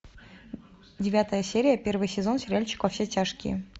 девятая серия первый сезон сериальчик во все тяжкие